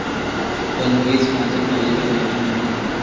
पण हेच माझ्या आईला लागू नाही.